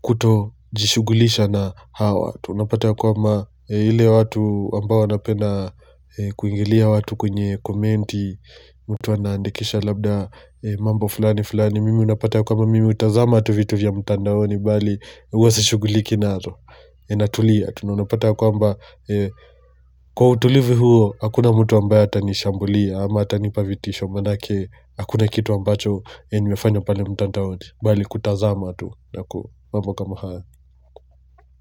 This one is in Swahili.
kuto jishugulisha na hawa tunapata ya kwamba ile watu ambao wanapenda kuingilia watu kwenye komenti mtu anaandikisha labda mambo fulani fulani mimi unapata ya kwamba mimi hutazama tu vitu vya mtandaoni bali huwasishuguliki nazo na tulia tunana pata ya kwamba eeh kwa utulivu huo hakuna mtu ambae atanishambulia ama atanipa vitisho manake hakuna kitu ambacho ni mefanya pale mtandaoni mbali kutazama tu na ku mambo kama hayo.